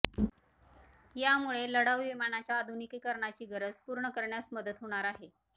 यामुळे लढाऊ विमानाच्या आधुनिकीकरणाची गरज पूर्ण करण्यास मदत होणार आहे